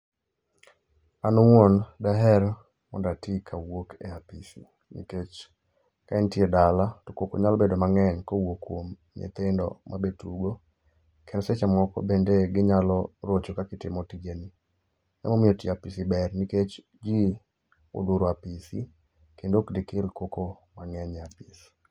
An owuon daher mondo atii ka awuok e apisi, nikech ka intie dala to koko nyalo bedo mang'eny kowuok kwom nyithindo mabetugo. Kendo seche moko be ginyalo rocho kaka itimo tijeni. Emomio tio e apisi ber nikech jii olworo apisi, kendo okdekel koko mang'eny e apisi.